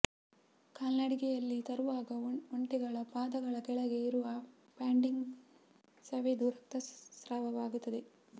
ಕಾಲ್ನಡಿಗೆಯಲ್ಲಿ ತರುವಾಗ ಒಂಟೆಗಳ ಪಾದಗಳ ಕೆಳಗೆ ಇರುವ ಪ್ಯಾಂಡಿಂಗ್ ಸವೆದು ರಕ್ತ ಸ್ರಾವವಾಗುತ್ತದೆ